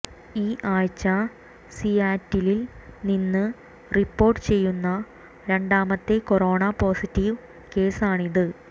ഈ ആഴ്ച സിയാറ്റിലിൽ നിന്ന് റിപ്പോർട്ട് ചെയ്യുന്ന രണ്ടാമത്തെ കൊറോണ പോസിറ്റീവ് കേസാണിത്